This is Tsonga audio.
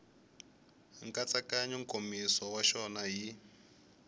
nkatsakanyo nkomiso wa xona hi